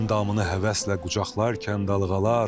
Əndamını həvəslə qucaqlarkən dalğalar.